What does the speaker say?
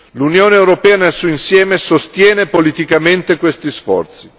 L'Unione europea nel suo insieme sostiene politicamente questi sforzi.